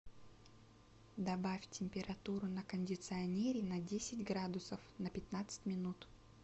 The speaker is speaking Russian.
добавь температуру на кондиционере на десять градусов на пятнадцать минут